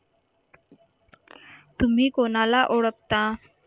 तुम्ही कोणाला ओळखता